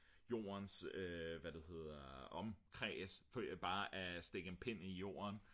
jordens hvad det hedder omkreds af bare at stikke en pind i jorden